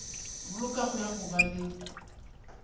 bolokago ya go ba le